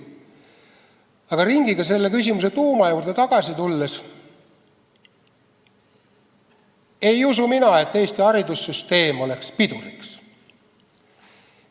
Aga ringiga selle küsimuse tuuma juurde tagasi tulles ütlen, et ei usu mina, nagu Eesti haridussüsteem oleks piduriks.